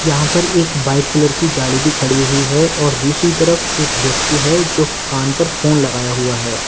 यहां पर एक वाइट कलर की गाड़ी भी खड़ी हुई है और दूसरी तरफ एक व्यक्ति है जो कान पर फोन लगाया हुआ है।